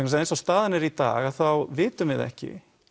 eins og staðan er í dag þá vitum við ekki